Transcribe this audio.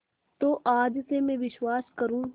तो आज से मैं विश्वास करूँ